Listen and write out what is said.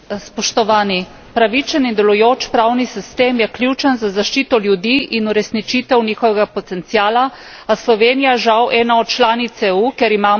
Pravičen in delujoč pravni sistem je ključen za zaščito ljudi in uresničitev njihovega potenciala, a je Slovenija žal ena od članic EU, kjer imamo s tem težave.